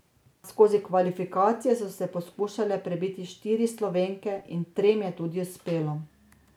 Skozi kvalifikacije so se poskušale prebiti štiri Slovenke in trem je tudi uspelo.